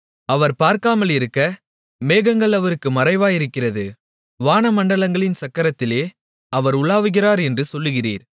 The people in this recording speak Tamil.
அவர் பார்க்காமலிருக்க மேகங்கள் அவருக்கு மறைவாயிருக்கிறது வானமண்டலங்களின் சக்கரத்திலே அவர் உலாவுகிறார் என்று சொல்லுகிறீர்